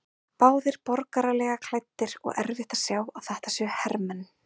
Báðir borgaralega klæddir og erfitt að sjá að þetta séu hermenn.